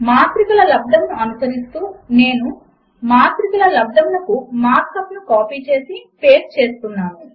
మాత్రికల లబ్దమును అనుసరిస్తూ నేను మాత్రిక లబ్దమునకు మార్క్ అప్ ను కాపీ చేసి పేస్ట్ చేస్తున్నాను